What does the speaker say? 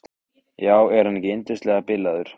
Já, er hann ekki yndislega bilaður.